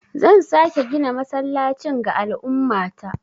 Zan sake gina masallacin ga al'ummata.